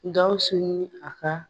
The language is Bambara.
Gawusu ni a ka